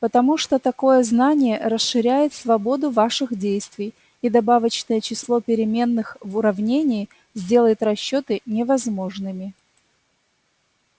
потому что такое знание расширяет свободу ваших действий и добавочное число переменных в уравнении сделает расчёты невозможными